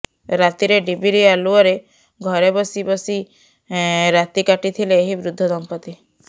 ରାତିରେ ଡିବିିରି ଆଲୁଅରେ ଘରେ ବସି ବସି ରାତିକାଟିଥିଲେ ଏହି ବୃଦ୍ଧ ଦଂପତି